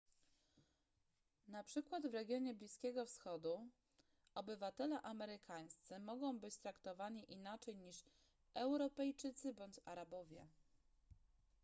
na przykład w regionie bliskiego wschodu obywatele amerykańscy mogą być traktowani inaczej niż europejczycy bądź arabowie